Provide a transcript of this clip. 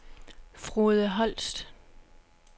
Frode Holst